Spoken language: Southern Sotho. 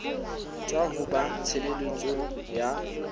tswa ho ba tshebeletso ya